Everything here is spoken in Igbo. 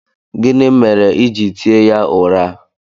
Gịnị mere i ji tie ya ụra?